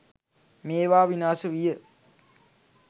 මේවා විනාශ විය.